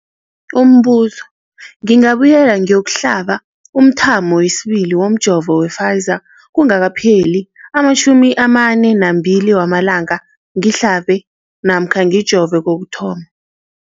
Umbuzo, ngingabuyela ngiyokuhlaba umthamo wesibili womjovo we-Pfizer kungakapheli ama-42 wamalanga ngihlabe namkha ngijove kokuthoma.